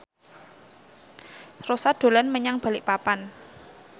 Rossa dolan menyang Balikpapan